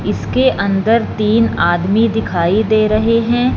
इसके अंदर तीन आदमी दिखाई दे रहे हैं।